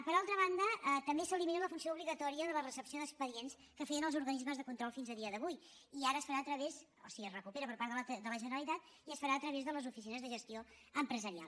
per altra banda també s’elimina la funció obligatòria de la recepció d’expedients que feien els organismes de control fins avui en dia i ara es farà a través o sigui es recupera per part de la generalitat de les oficines de gestió empresarial